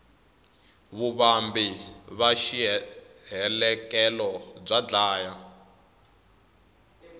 vuvambi va xihelekelo bya dlaya